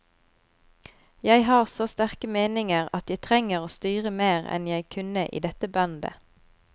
Jeg har så sterke meninger at jeg trenger å styre mer enn jeg kunne i dette bandet.